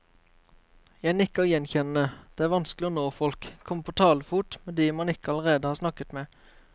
Jeg nikker gjenkjennende, det er vanskelig å nå folk, komme på talefot med de man ikke allerede har snakket med.